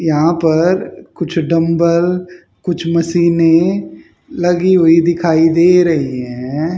यहां पर कुछ डंबल कुछ मशीनें लगी हुई दिखाई दे रही है।